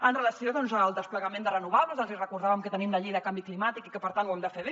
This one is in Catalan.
amb relació al desplegament de renovables els hi recordàvem que tenim la llei de canvi climàtic i que per tant ho hem de fer bé